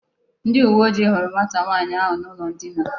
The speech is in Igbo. Ndi uwe oji huru nwata nwaanyi ahu n'ulo ndina